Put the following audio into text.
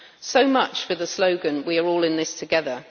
So much for the slogan we are all in this together'.